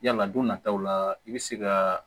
Yala don nataw la i bɛ se ka